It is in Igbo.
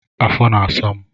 afọ na-asa m.